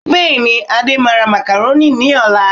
Bẹ́ẹ̀ni, Adé máa ra macaroni ní ọ̀la